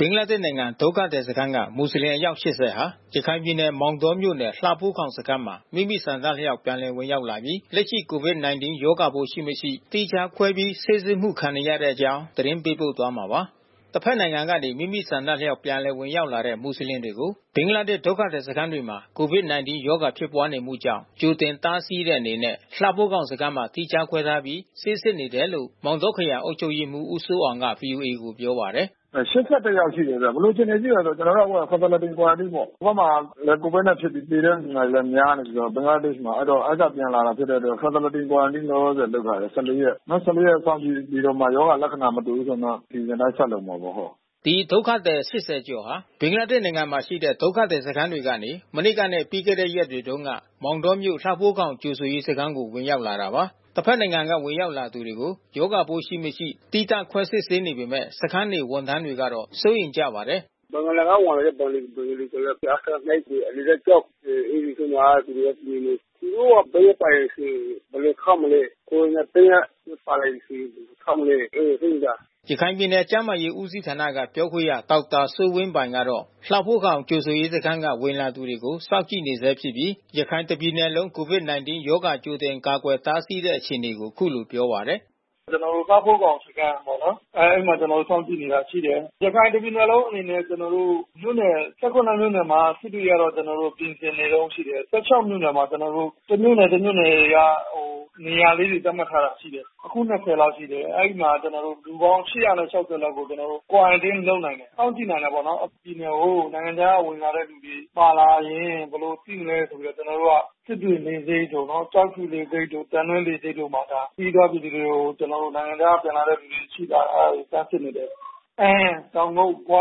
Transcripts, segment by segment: ဘင်္ဂလားဒေ့ရ်ှနိုင်ငံ ဒုက္ခသည်စခန်းက မူဆလင်အယောက် ၈၀ ဟာ ရခိုင်ပြည်နယ် မောင်တောမြို့နယ် လှဖိုးခေါင် စခန်းမှာ မိမိဆန္ဒအလျောက် ပြန်လည်ဝင်ရောက်လာပြီး လက်ရှိ COVID-19 ရောဂါပိုးရှိ၊ မရှိ သီးခြားခွဲပြီး ဆေးစစ်မှု ခံနေရတဲ့ အကြောင်းသတင်းပေးပို့သွားမှာပါ။ တဘက်နိုင်ငံကနေ မိမိဆန္ဒအလျောက် ပြန်လည်ဝင်ရောက်လာတဲ့ မူဆလင်တွေကို ဘင်္ဂလားဒေ့ရ်ှ ဒုက္ခသည်စခန်းတွေမှာ COVID-19 ရောဂါဖြစ်ပွါးနေမှုကြောင့် ကြိုတင်တားဆီးတဲ့အနေနဲ့ လှဖိုးခေါင်စခန်းမှာ သီးခြားခွဲထားပြီး ဆေးစစ်နေတယ်လို့ မောင်တောခရိုင်အုပ်ချုပ်ရေးမှူး ဦးစိုးအောင်က ဗွီအိုအေကို ပြောပါတယ်။ “အဲ ၈၁ ယောက်ရှိတယ်ခင်ဗျ။ ဘယ်လိုအခြေအနေ ရှိတယ်တော့ ကျနော်တို့ အခုဟာ Facility Quarantine ပေါ့။ ဟိုဘက်မှာ COVID ဖြစ်ပြီး သေတဲ့လူနာတွေလည်း များနေပြီးတော့ ဘင်္ဂလားဒေ့ရ်ှမှာ။ အဲဒီကပြန်လာတာဖြစ်တဲ့အတွက် Facility Quarantine လောလောဆယ် လုပ်ထားတယ် ၁၄ ရက်။ နောက် ၁၄ ရက်စောင့်ကြည့်ပြီးတော့မှ ရောဂါလက္ခဏာ မတွေ့ဘူးဆိုရင်တော့ အစီစဉ်အတိုင်း ဆက်လုပ်မှာပေါ့။” ဒီဒုက္ခသည် ၈၀ ကျော်ဟာ ဘင်္ဂလားဒေ့ရ်ှနိုင်ငံမှာရှိတဲ့ ဒုက္ခသည်စခန်းတွေထဲကနေ မနေ့ကနဲ့ ပြီးခဲ့တဲ့ရက်တွေတုန်းက မောင်တောမြို့ လှဖိုးခေါင်ကြိုဆိုရေးစခန်းကို ဝင်ရောက်လာတာပါ။ တဘက်နိုင်ငံက ဝင်ရောက်လာသူတွေကို ရောဂါပိုးရှိ၊ မရှိ သီးသန့်ခွဲစစ်ဆေးနေပေမဲ့ စခန်းနေ ဝန်ထမ်းတွေကတော့ စိုးရိမ်ကြပါတယ်။ “ဘင်္ဂလားက ဝင်လာတဲ့ ဘင်္ဂလီတွေဆို အထက (၂) တွေ အလယ်တန်းကျောင်းတွေမှာသူတို့နေနေ။ သူတို့မှာ ဗိုင်းရပ်စ်ပါတယ်ဆိုရင် ဘယ်လိုထားမလဲ။ ကိုရိုနာဗိုင်းရပ်စ် ပါလာမယ်ဆိုရင် ဘယ်လိုထားမလဲ အဲတာ စိုးရိမ်တာ။” ရခိုင်ပြည်နယ် ကျန်းမာရေးဦးစီးဌာနက ပြောခွင့်ရဒေါက်တာစိုးဝင်းပိုင်ကတော့ လှဖိုးခေါင်ကြိုဆိုရေးစခန်းက ဝင်လာသူတွေကို စောင့်ကြည့်နေဆဲဖြစ်ပြီး ရခိုင်တပြည်နယ်လုံး COVID-19 ရောဂါကြိုတင်ကာကွယ်တားဆီးနေတဲ့ အခြေအနေကို အခုလိုပြောပါတယ်။ “ကျနော်တို့ လှဖိုးခေါင်စခန်းကပေါ့နော်။ အဲဒီမှာ ကျနော်တို့ စောင့်ကြည့်နေတာ ရှိတယ်။ ရခိုင်တပြည်နယ်လုံးအနေနဲ့ မြို့နယ် ၁၇ မြို့နယ်မှာ စစ်တွေကတော့ ကျနော်တို့ ပြင်ဆင်နေတုန်းရှိတယ်။ ၁၆ မြို့နယ်မှာ ကျနော်တိုပ တမြို့နယ် တမြို့နယ်က ကျနော်တို့ နေရာသတ်မှတ်ထားတာ ရှိတယ်။ အခု ၂၀ လောက်ရှိတယ်။ အဲဒီမှာ လူပေါင်း ၈၆၀ လောက်ကိုကျနော်တို့ Quarantine လုပ်နိုင်တယ်။ စောင့်ကြည့်နိုင်တာပေါ့နော်။ ပြည်နယ်ကို နိုင်ငံခြားကဝင်လာတဲ့ လူတွေပါလာရင် ဘယ်လိုစောင့်ကြည့်မလဲ စစ်တွေလေဆိပ်တို့ ကျောက်ဖြူလေဆိပ်တို့ သံတွဲလေဆိပ်တို့မှာ ခရီးသွားပြည်သူတွေကို ကျနော်တို့ နိုင်ငံခြားကပြန်လာတဲ့ လူတွေရှိလား။ အဲတာတွေ စမ်းစစ်နေတယ်။ အမ်း၊ တောင်ကုတ်၊ ဂွ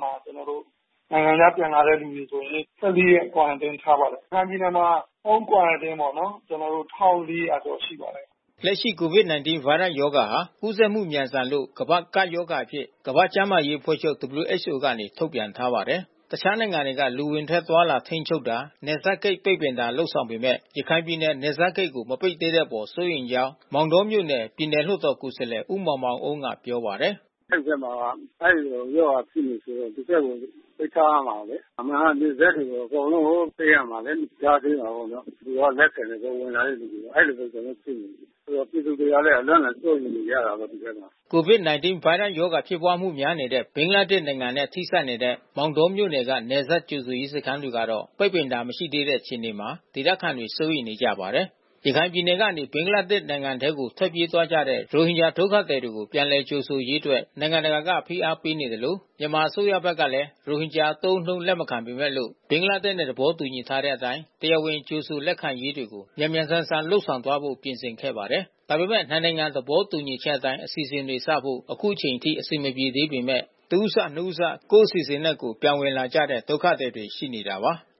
မှာ ကျနော်တို့ နိုင်ငံခြားကပြန်လာတဲ့လူဆိုရင် ၁၄ ရက် Quarantine ထားပါတယ်။ ရခိုင်ပြည်နယ်မှာ Home Quarantine ပေါ့နော်... ၁,၄၀၀ ကျော်ရှိပါတယ်။” လက်ရှိ COVID-19 ဗိုင်းရပ်စ်ရောဂါဟာ ကူးစက်မှု မြန်ဆန်လို့ ကမ္ဘာ့ကပ်ရောဂါအဖြစ် ကမ္ဘာ့ကျန်းမာရေးအဖွဲ့ချုပ် WHO က ထုတ်ပြန်ထားပါတယ်။ တခြားနိုင်ငံတွေက လူအဝင်ထွက်အသွားအလာ ထိန်းချုပ်တာ နယ်စပ်ဂိတ်ပိတ်ပင်တာ လုပ်ဆောင်နေပေမဲ့ ရခိုင်ပြည်နယ် နယ်စပ်ဂိတ်ကို မပိတ်သေးတဲ့အပေါ် စိုးရိမ်ကြောင်း မောင်တောမြို့နယ် ပြည်နယ်လွှတ်တော်ကိုယ်စားလှယ် ဦးမောင်မောင်အုန်းက ပြောပါတယ်။ “အဲဒီဘက်မှာ အဲဒီရောဂါဖြစ်နေတယ်ဆိုတော့ ဒီဘက်ကို ပိတ်ထားရမှာလေ။ အမှန်ကနယ်စပ်ကို အကုန်လုံး ပိတ်ရမှာလေ။ ကြားထဲမှာ သူက လက်ခံတယ်။ ဝင်လာတဲ့လူတွေကို အဲတာပဲ ကျနော်တို့ စိုးရိမ်တာ။ ပြည်သူတွေကလည်း အလွန့်အလွန် စိုးရိမ်နေကြတာပေါ့ ဒီဘက်မှာ။” COVID-19 ဗိုင်းရပ်စ်ရောဂါဖြစ်ပွါးမှု များနေတဲ့ ဘင်္ဂလားဒေ့ရ်ှနိုင်ငံနဲ့ ထိစပ်နေတဲ့ မောင်တောမြို့နယ်က နယ်စပ်ကြိုဆိုရေး စခန်းတွေကတော့ ပိတ်ပင်တာ မရှိသေးတဲ့ အခြေအနေမှာ ဒေသခံတွေ စိုးရိမ်နေကြပါတယ်။ ရခိုင်ပြည်နယ်ကနေ ဘင်္ဂလားဒေ့ရ်ှနိုင်ငံထဲ ထွက်ပြေးသွားကြတဲ့ ရိုဟင်ဂျာ ဒုက္ခသည်တွေကို ပြန်လည်လက်ခံရေးအတွက် နိုင်ငံတကာက ဖိအားပေးသလို၊ မြန်မာအစိုးရဘက်ကလည်း ရိုဟင်ဂျာအသုံးအနှုန်း လက်မခံပေမဲ့လို့ ဘင်္ဂလားဒေ့ရ်ှနဲ့ သဘောတူထားတဲ့အတိုင်း တရားဝင် ကြိုဆိုလက်ခံရေးတွေကို မြန်မြန်ဆန်ဆန်လုပ်သွားဖို့ ပြင်ဆင်ခဲ့ပါတယ်။ ဒါပေမဲ့ နှစ်နိုင်ငံ သဘောတူညီချက်အတိုင်း အစီအစဉ်တွေစဖို့ အခုအချိန်အထိ အဆင်မပြေသေးပေမဲ့လို့၊ တဦးစ၊ နှစ်ဦးစ ကိုယ့်အစီအစဉ်နဲ့ ကိုယ် ပြန်ဝင်လာကြတဲ့ ဒုက္ခသည်တွေ ရှိနေတာပါ။